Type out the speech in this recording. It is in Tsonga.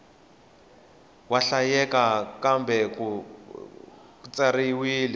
wa hlayeka kambe ku katsiwile